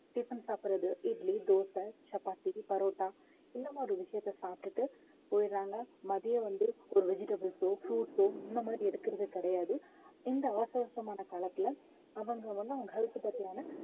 tiffin சாப்பிடுறது idli, dosa, chapati parotta இந்த மாதிரி விஷயத்த சாப்பிட்டுட்டு போயிடறாங்க மதியம் வந்து ஒரு vegetables ஓ fruits ஓ இந்த மாதிரி எடுக்கறது கிடையாது இந்த அவசர அவசரமான காலத்துல அவங்க அவங்க health பத்தியான